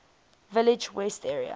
village west area